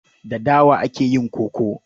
Da dawa ake yin koko.